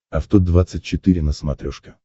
авто двадцать четыре на смотрешке